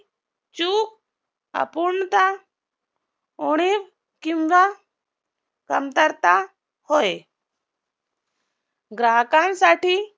उणीव किंवा कमतरता होय ग्राहकांसाठी